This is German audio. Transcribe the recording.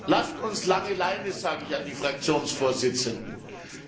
Lasst uns lange Leine, sage ich an die Fraktionsvorsitzenden gerichtet.